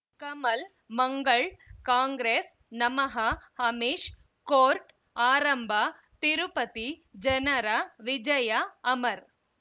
ಕಮಲ್ ಮಂಗಳ್ ಕಾಂಗ್ರೆಸ್ ನಮಃ ಅಮಿಷ್ ಕೋರ್ಟ್ ಆರಂಭ ತಿರುಪತಿ ಜನರ ವಿಜಯ ಅಮರ್